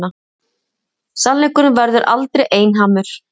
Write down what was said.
Sannleikurinn verður aldrei einhamur.